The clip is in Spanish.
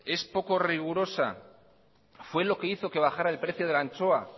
es poco rigurosa fue lo que hizo que bajara el precio de la anchoa